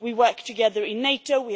We work together in NATO